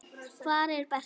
Hvar er Berti?